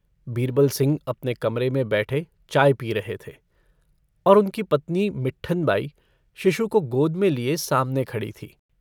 बीरबलसिंह अपने कमरे में बैठे चाय पी रहे थे और उनकी पत्नी मिट्ठन बाई शिशु को गोद में लिये सामने खड़ी थीं।